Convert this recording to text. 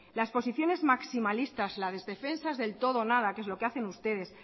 las posiciones maximalistas las defensas del todo o nada que es lo que hacen ustedes